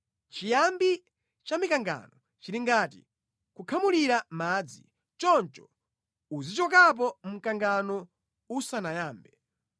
Chiyambi cha mikangano chili ngati kukhamulira madzi, choncho uzichokapo mkangano usanayambe.